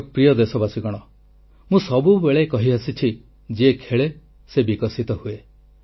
ମୋର ପ୍ରିୟ ଦେଶବାସୀଗଣ ମୁଁ ସବୁବେଳେ କହିଆସିଛି ଯିଏ ଖେଳେ ସେ ବିକଶିତ ହୁଏ